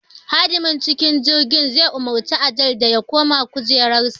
Hadimar cikin jirgin the umarci Adeel da ya koma kujerarsa